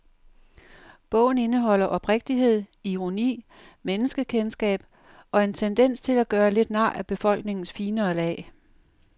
Bogen indeholder oprigtighed, ironi, menneskekendskab og en tendens til at gøre lidt nar af befolkningens finere lag.